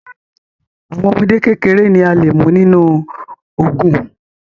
Àwọn ọmọdé kékeré ni a lè mú nínú ogùn